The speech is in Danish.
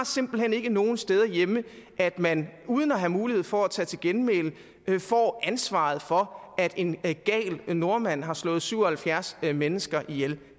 simpelt hen ikke nogen steder hjemme at man uden at have mulighed for at tage til genmæle får ansvaret for at en gal nordmand har slået syv og halvfjerds mennesker ihjel